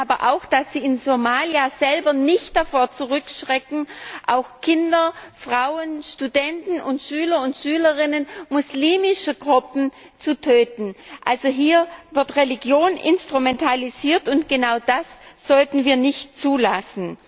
Wir wissen aber auch, dass sie in Somalia selber nicht davor zurückschrecken, auch Kinder, Frauen, Studenten und Schülerinnen und Schüler muslimische Gruppen zu töten. Also wird hier Religion instrumentalisiert, und genau das sollten wir nicht zulassen.